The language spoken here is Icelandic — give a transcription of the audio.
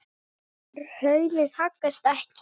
Hraunið haggast ekki.